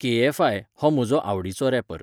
KFI. हो म्हजो आवडीचो रॅपर